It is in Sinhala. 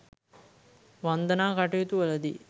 වන්දනා කටයුතු වලදී